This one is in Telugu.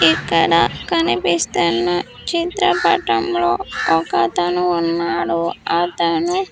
ఇక్కడ కనిపిస్తున్న చిత్రపటంలో ఒకతను ఉన్నాడు అతను.